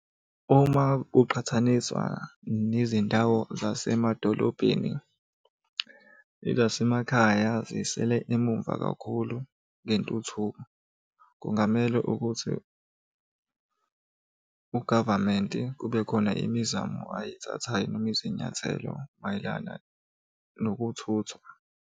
Uma kuqhathaniswa nezindawo zasemadolobheni, ezasemakhaya zisele emumva kakhulu ngentuthuko. Kungamele ukuthi ugavamenti kube khona imizamo ayithathayo noma izinyathelo mayelana nokuthuthwa.